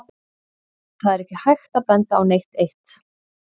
Það er ekki hægt að benda á neitt eitt.